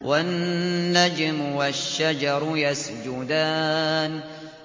وَالنَّجْمُ وَالشَّجَرُ يَسْجُدَانِ